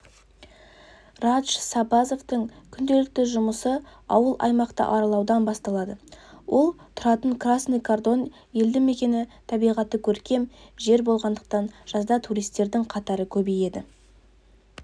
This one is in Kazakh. радж сабазовтың күнделікті жұмысы ауыл-аймақты аралаудан басталады ол тұратын красный кордан елді мекені табиғаты көркем жер болғандықтан жазда туристердің қатары көбейеді